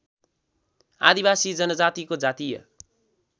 आदिवासी जनजातिको जातीय